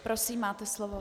Prosím, máte slovo.